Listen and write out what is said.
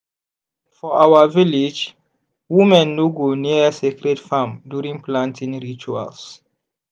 for our village women no go near sacred farm during planting rituals.